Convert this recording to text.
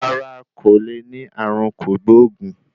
Rárá, kò le ní ààrùn kògbóògùn.